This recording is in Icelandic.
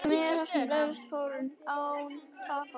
Allt miðar að því að öðlast fróun, án tafar.